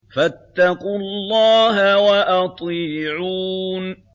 فَاتَّقُوا اللَّهَ وَأَطِيعُونِ